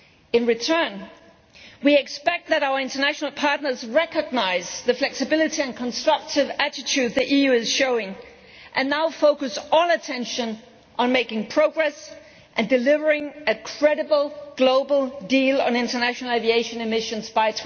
In return, we expect our international partners to recognise the flexibility and constructive attitude the EU is showing and now focus all attention on making progress and delivering a credible global deal on international aviation emissions by